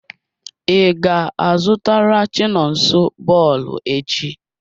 I ga-azụtara chinonso bọọlụ echi?